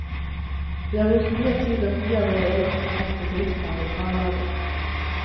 Vi har brukt mye tid og mye av våre egne penger på driften av lokallaget.